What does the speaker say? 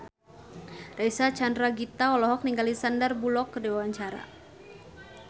Reysa Chandragitta olohok ningali Sandar Bullock keur diwawancara